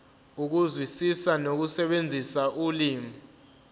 ukuzwisisa nokusebenzisa ulimi